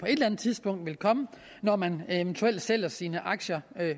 tidspunkt vil komme når man eventuelt sælger sine aktier